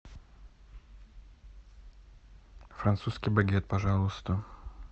французский багет пожалуйста